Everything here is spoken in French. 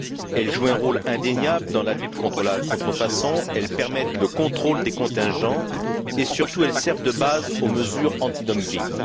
Elles jouent un rôle indéniable dans la lutte contre la contrefaçon, elles permettent le contrôle des contingents et, surtout, elles servent de base aux mesures antidumping.